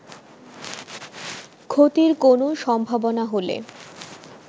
ক্ষতির কোন সম্ভাবনা হলে